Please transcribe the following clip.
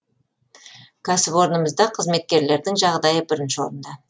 кәсіпорнымызда қызметкерлердің жағдайы бірінші орында